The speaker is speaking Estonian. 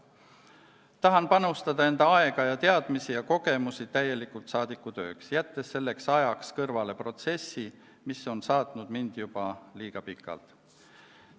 Tahan panustada enda aega, teadmisi ja kogemusi täielikult saadikutöösse, jättes selleks ajaks kõrvale protsessi, mis on mind juba liiga pikalt saatnud.